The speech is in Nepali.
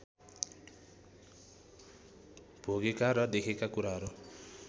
भोगेका र देखेका कुराहरू